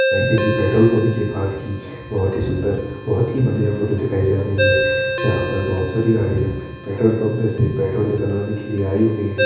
एक किसी petrol pump के पास की बहोत ही सुन्दर बहोत ही बडिया फोटो दिखाई जा रही है जहा पर बहोत सारी गाड़िया पेट्रोल पम्प मे से पेट्रोल निकलवाने के लिए आई हुई है।